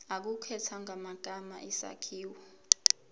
ukukhethwa kwamagama isakhiwo